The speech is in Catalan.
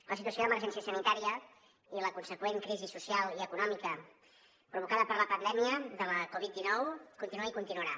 la situació d’emergència sanitària i la consegüent crisi social i econòmica provocada per la pandèmia de la covid dinou continua i continuarà